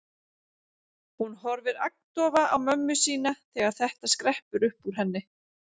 Hún horfir agndofa á mömmu sína þegar þetta skreppur upp úr henni.